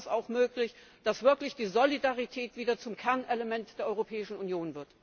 Dann wäre es auch möglich, dass wirklich die Solidarität wieder zum Kernelement der Europäischen Union wird!